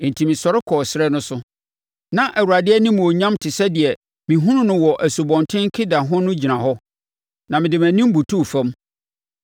Enti mesɔre kɔɔ ɛserɛ no so. Na Awurade animuonyam te sɛ deɛ mehunuu wɔ Asubɔnten Kebar ho no gyina hɔ, na mede mʼanim butuu fam.